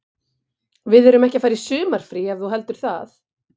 Við erum ekki að fara í sumarfrí ef þú heldur það.